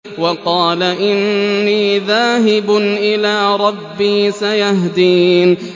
وَقَالَ إِنِّي ذَاهِبٌ إِلَىٰ رَبِّي سَيَهْدِينِ